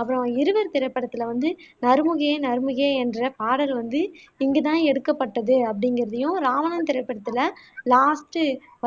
அப்பறம் இருவர் திரைப்படத்துல வந்து நறுமுகையே நறுமுகையே என்ற பாடல் வந்து இங்கு தான் எடுக்கப்பட்டது அப்படிங்குறதையும் இராவணன் திரைப்படத்துல லாஸ்ட்